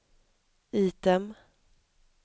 item